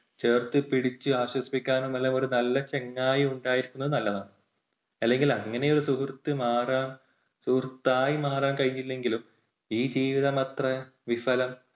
ചേർത്തുപിടിച്ചു ആശ്വസിപ്പിക്കാനും ഉള്ള ഒരു നല്ല ചങ്ങായി ഉണ്ടായിരിക്കുന്നത് നല്ലതാണ്. അല്ലെങ്കിൽ അങ്ങനെയൊരു സുഹൃത്ത് മാറാൻ സുഹൃത്തായി മാറാൻ കഴിഞ്ഞില്ലെങ്കിലും ഈ ജീവിതമത്രെ വിഫലം.